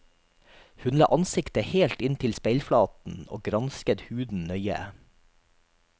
Hun la ansiktet helt inntil speilflaten og gransket huden nøye.